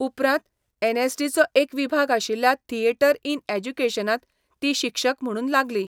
उपरांत एन.एस.डी. चो एक विभाग आशिल्ल्या थियेटर इन एज्युकेशनांत ती शिक्षक म्हुणून लागली.